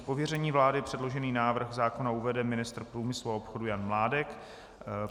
Z pověření vlády předložený návrh zákona uvede ministr průmyslu a obchodu Jan Mládek.